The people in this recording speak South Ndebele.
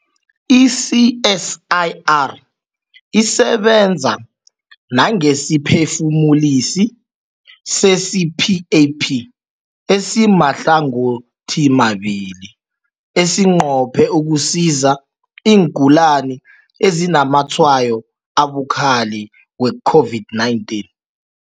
I-CSIR isebenza nangesiphefumulisi se-CPAP esimahlangothimabili esinqophe ukusiza iingulani ezinazamatshwayo abukhali we-COVID-19.